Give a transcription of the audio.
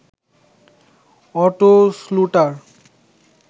auto শ্লুটার